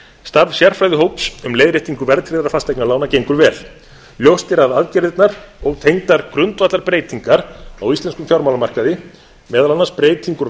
starf sérfræðihóps um leiðréttingu verðtryggðra fasteignalána gengur vel ljóst er að aðgerðirnar og tengdar grundvallarbreytingar á íslenskum fjármálamarkaði meðal annars breyting úr